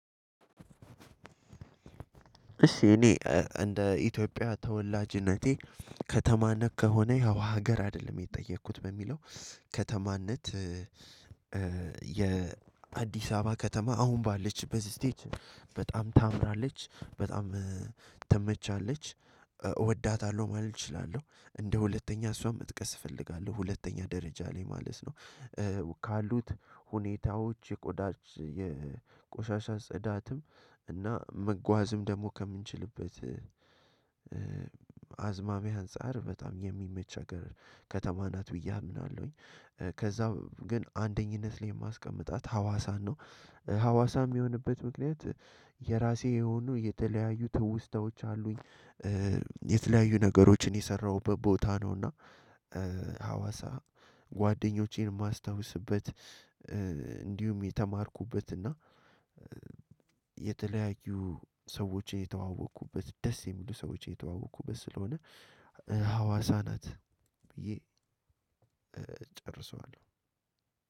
እሺ እኔ እ እንደ ኢትዮጵያ ተወላጅነቴ ከተማነት ከሆነ ያው ሀገር አይደለም የተጠየኩት በሚለው ከተማነት እ እ የ አዲስ አበባ ከተማ አሁን ባለችበት ስቴጅ በጣም ታምራለች በጣም እ ትመቻለች እወዳታለሁ ማለት እችላለሁ። እንደ ሁለተኛ እሷም መጥቀስ እፈልጋለሁ ሁለተኛ ደረጃ ላይ ማለት ነው። እ ካሉት ሁኔታዎች የቆዳ የ ቆሻሻ ጽዳትም እና መጓዝም ደግሞ ከምንችልበት እ አዝማሚያ አንፃር በጣም የሚመች ሀገር ከተማ ናት ብዬ አምናለሁኝ። እ ከዛ ግን አንደኝነት ላይ የማስቀምጣት ሀዋሳን ነው። ሀዋሳም የሚሆንበት ምክንያት የራሴ የሆኑ የተለያዩ ትውስታዎች አሉኝ። እ የተለያዩ ነገሮችን የሰራኹበት ቦታ ነውና እ ሀዋሳ ጓደኞቼን የማስታውስበት እ እንዲሁም የተማርኩበት እና እ የተለያዩ ሰዎችን የተዋወቅኩበት ደስ የሚሉ ሰዎችን የተዋወቅኩበት ስለሆነ ሀዋሳ ናት። ብዬ እ እጨርሰዋለሁ።